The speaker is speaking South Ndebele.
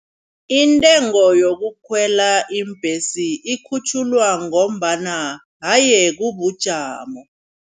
Intengo yokukhwela iimbhesi ikhutjhulwa ngombana haye kubujamo.